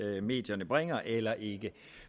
det medierne bringer er faktuelt eller ikke